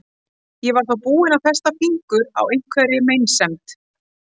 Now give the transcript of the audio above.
Ég var þá búin að festa fingur á einhverri meinsemd.